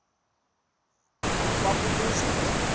kwa kobuzwa le